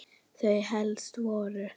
Þau helstu voru